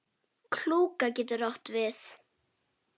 Klúka getur átt við